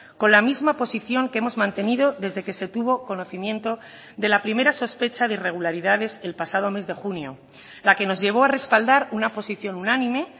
con la misma posición que hemos mantenido desde que se tuvo conocimiento de la primera sospecha de irregularidades el pasado mes de junio la que nos llevó a respaldar una posición unánime